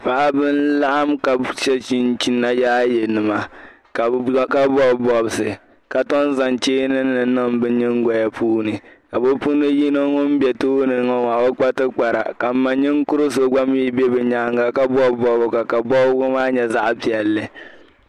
Paɣaba n laɣim ka she chinchina yaaye nima ka bɔbi bɔbisi ka tɔm zaŋ cheeni nim niŋ bɛ nyigoya puuni ka bɛ puuni yino ŋun be tooni ŋɔ maa ka o kpa tibi Kpara ka m ma ninkuri so gba be nyaaga ka bɔbi bɔbiga ka bɔbiga maa nyɛ zaɣi piɛli.